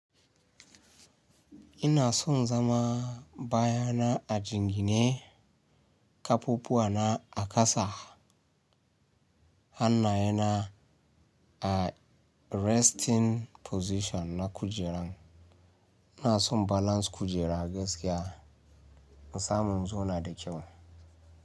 Ina son zama baya na a jingine, kafafuwa na a kasa, hannaye na a resting position na kujeran. Ina son balance kujera gaskiya, in samu in zo na da kyau.